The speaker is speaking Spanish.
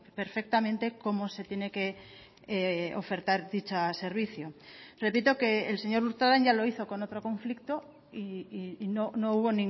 perfectamente cómo se tiene que ofertar dicho servicio repito que el señor urtaran ya lo hizo con otro conflicto y no hubo